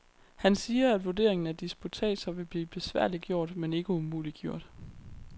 Han siger, at vurderingen af disputatser vil blive besværliggjort, men ikke umuliggjort.